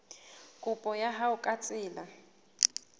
kopo ya hao ka tsela